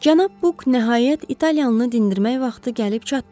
Cənab Buk nəhayət italyanlını dindirmək vaxtı gəlib çatdı.